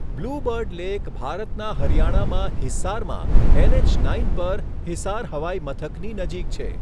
Blue Bird Lake ભારતના હરિયાણામાં હિસારમાં એનએચ નાઇન પર હિસાર હવાઇ મથકની નજીક છે.